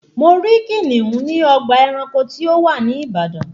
Mo rí kìnìún ní ọgbà ẹranko tí ó wà ní ìbàdàn